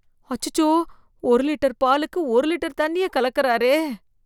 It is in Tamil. அச்சச்சோ, ஒரு லிட்டர் பாலுக்கு ஒரு லிட்டர் தண்ணிய கலக்கறாரே.